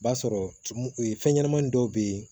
B'a sɔrɔ tumu fɛn ɲɛnɛmani dɔw bɛ ye